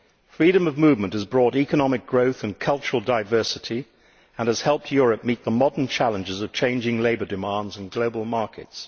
Freedom of movement has brought economic growth and cultural diversity and has helped Europe meet the modern challenges of changing labour demands and global markets.